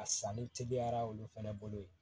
A sanni teliyara olu fɛnɛ bolo yen